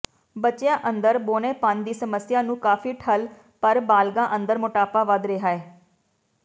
ਬੱਚਿਆਂ ਅੰਦਰ ਬੌਣੇਪਣ ਦੀ ਸਮੱਸਿਆ ਨੂੰ ਕਾਫ਼ੀ ਠੱਲ੍ਹ ਪਰ ਬਾਲਗ਼ਾਂ ਅੰਦਰ ਮੋਟਾਪਾ ਵੱਧ ਰਿਹੈ